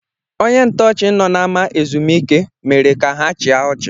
Onye ntọọchị nọ n’ama ezumike mere ka ha chịa ọchị